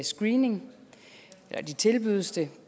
screening eller de tilbydes det